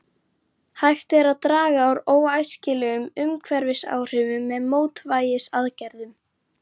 Hægt er að draga úr óæskilegum umhverfisáhrifum með mótvægisaðgerðum.